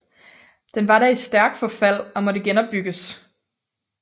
Den var da i stærk forfald og måtte genopbygges